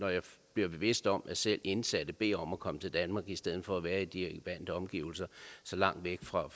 bliver bevidst om at selv indsatte beder om at komme til danmark i stedet for at være i de vante omgivelser så langt væk fra